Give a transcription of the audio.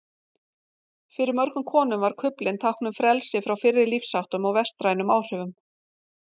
Fyrir mörgum konum var kuflinn tákn um frelsi frá fyrri lífsháttum og vestrænum áhrifum.